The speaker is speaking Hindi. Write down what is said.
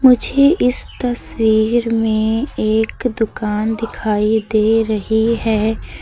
मुझे इस तस्वीर में एक दुकान दिखाई दे रही है।